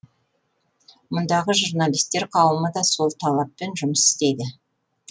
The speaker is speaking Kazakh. мұндағы журналистер қауымы да сол талаппен жұмыс істейді